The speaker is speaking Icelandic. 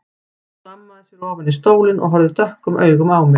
Hann hlammaði sér ofan í stólinn og horfði dökkum augum á mig.